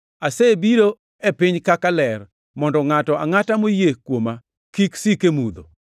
Asebiro e piny kaka ler, mondo ngʼato angʼata moyie kuoma kik sik e mudho.